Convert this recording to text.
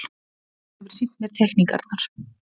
Hún hefur sýnt mér teikningarnar.